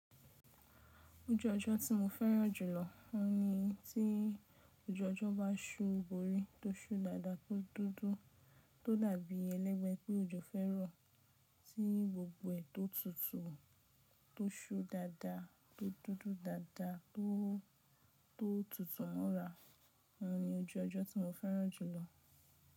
Ojú ọjọ́ tí mo fẹ́ràn jùlọ, ó ní tí ojú ọjọ́ bá ṣú bòrí, tó ṣú dáda tó dúdú tó dàbí elegbe pé òjò fẹ́ rọ̀ tí gbogbo ẹ̀ tó tutù tó ṣú dáda tó dúdú dáda tó tó tutù mọ́ra. Ó ní ojoojo tí mo fẹ́ràn jùlọ.